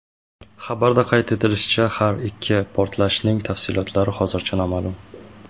Xabarda qayd etilishicha, har ikki portlashning tafsilotlari hozircha noma’lum.